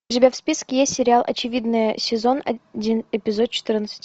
у тебя в списке есть сериал очевидное сезон один эпизод четырнадцать